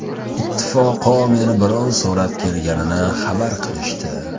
Ittifoqo meni birov so‘rab kelganini xabar qilishdi.